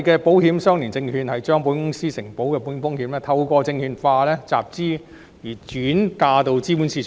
保險相連證券將保險公司承保的保險風險透過證券化集資而轉嫁至資本市場。